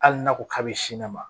Hali n'a ko k'a bɛ sin ne ma